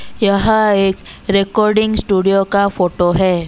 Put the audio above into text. यह एक recording studio का फोटो है।